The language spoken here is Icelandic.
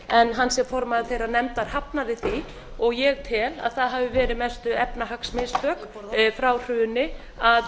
en hann sem formaður þeirrar nefndar hafi því og ég tel að það hafi verið mestu efnahagsmistök frá hruni að